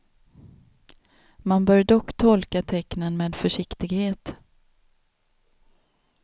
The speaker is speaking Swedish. Man bör dock tolka tecknen med försiktighet.